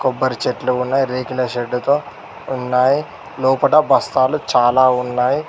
కొబ్బరి చెట్లు ఉన్నాయ్ రేకుల షెడ్డుతో ఉన్నాయి లోపల బస్తాలు చాలా ఉన్నాయ్.